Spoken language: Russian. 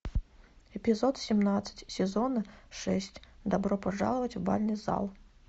эпизод семнадцать сезон шесть добро пожаловать в бальный зал